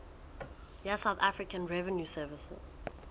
ya south african revenue service